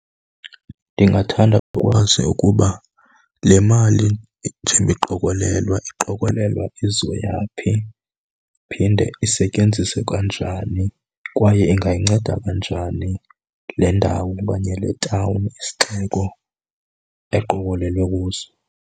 Ndingathanda ukwazi ukuba le mali njengoba iqokolelwa iqokolelwa izoya phi, iphinde isetyenziswe kanjani kwaye ingayinceda kanjani le ndawo okanye le tawuni, isixeko eqokelelwe kuso.